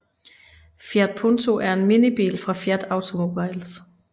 Fiat Punto er en minibil fra Fiat Automobiles